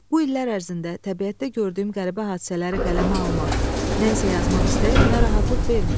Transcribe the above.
Bu illər ərzində təbiətdə gördüyüm qəribə hadisələri qələmə almaq, nə isə yazmaq istəyi mənə rahatlıq vermir.